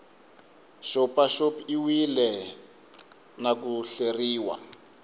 xopaxop iwile na ku hleriwa